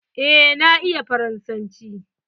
Eh na iya faransanci.